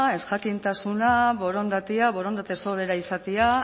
ezjakintasuna borondatea borondate sobera izatea